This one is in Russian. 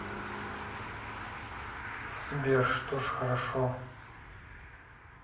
сбер что ж хорошо